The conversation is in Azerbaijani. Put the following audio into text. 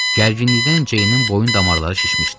Gərginlikdən Ceynin boyun damarları şişmişdi.